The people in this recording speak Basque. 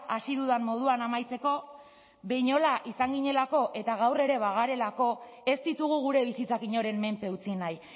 hasi dudan moduan amaitzeko behinola izan ginelako eta gaur ere bagarelako ez ditugu gure bizitzak inoren menpe utzi nahi